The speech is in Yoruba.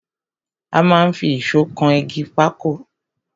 A máa n fi ìsó kan igi papọ̀